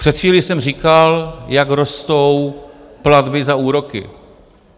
Před chvílí jsem říkal, jak rostou platby za úroky.